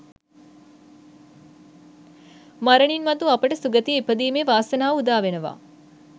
මරණින් මතු අපට සුගතියේ ඉපදීමේ වාසනාව උදාවෙනවා